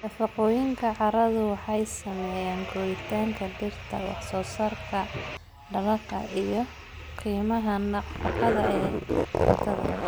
Nafaqooyinka carradu waxay saameeyaan koritaanka dhirta, wax-soo-saarka dalagga, iyo qiimaha nafaqada ee cuntada.